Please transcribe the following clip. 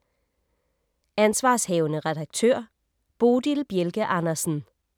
Ansv. redaktør: Bodil Bjelke Andersen